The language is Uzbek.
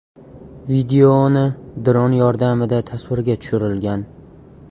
Videoni dron yordamida tasvirga tushirilgan.